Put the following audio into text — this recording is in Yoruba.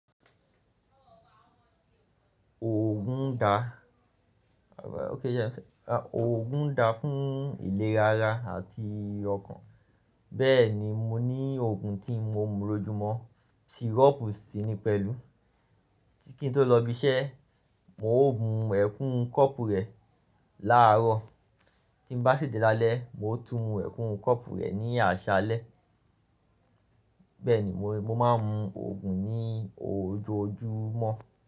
Oogun da fún ìlera ara àti ọkàn. Bẹ́ẹ̀ni, mo ní oogun tí mo ń mu lojúmọ, sirop sí ní pẹ̀lú, kí n tó lọ ibi iṣẹ́, mo ó mu ẹ̀kún kọ́ọ̀pù rẹ̀ láàárọ̀, tí ń bá ṣètè lálẹ́, mo tún mu ẹ̀kún kọ́ọ̀pù rẹ̀ ní àṣálẹ́. Bẹ́ẹ̀ni, mo máa ń mu òògùn ní ojoojúmọ́